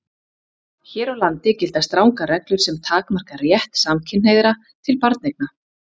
Hér á landi gilda strangar reglur sem takmarka rétt samkynhneigðra til barneigna.